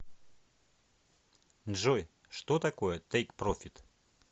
джой что такое тейк профит